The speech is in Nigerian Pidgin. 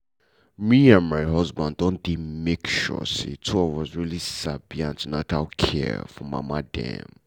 me and my husband don dey make sure say two of us really sabi an ten atal care for mama dem well.